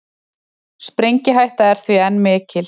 Sprengihætta er því enn mikil